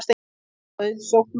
Var það auðsótt mál